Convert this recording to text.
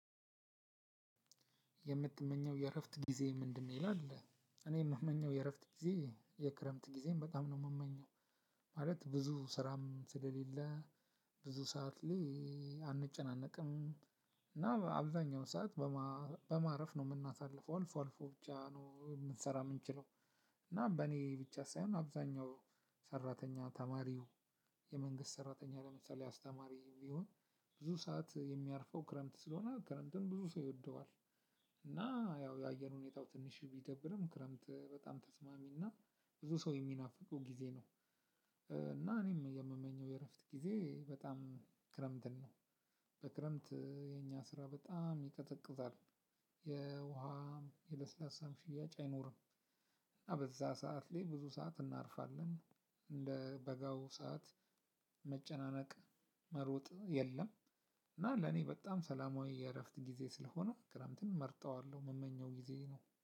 የምትመኘው የእረፍት ጊዜ ምንድነው? ይላል እኔ የምመኘው የእረፍት ጊዜ የክረምት ጊዜም በጣም ነው የምመኘው። ማለት ብዙ ስራም ስለሌለ ብዙ ሰዓት ላይ አንጨናነቅም። እና አብዛኛው ሰዓት በማረፍ ነው የምናሳልፈው። አልፎ አልፎ ብቻ ነው የምንሰራ የምንችለው። እና በእኔ ብቻ ሳይሆን አብዛኛው ሰራተኛ ተማሪው የመንግስት ሰራተኛ ለምሳሌ አስተማሪ ቢሆን ብዙ ሰዓት የሚያርፈው ክረምት ስለሆነ ክረምትን ብዙ ሰው ይወደዋል። እና ያው የአየር ሁኔታው ትንሽ ቢደብርም ክረምት በጣም ተስማሚ እና ብዙ ሰው የሚናፍቁ ጊዜ ነው። እና እኔም የምመኘው የእረፍት ጊዜ በጣም ክረምትን ነው። በክረምት የኛ ስራ በጣም ይቀዘቅዛጣል። የውሃም የለስላሳም ሽያጭ አይኖርም። እና በዛ ሰዓት ላይ ብዙ ሰዓት እናርፋለን። እንደ በጋው ሰዓት መጨናነቅ መሮጥ የለም። እና ለኔ በጣም ሰላማዊ የእረፍት ጊዜ ስለሆነ ክረምትን እመርጠዋለሁ የምመኘው ጊዜ ነው።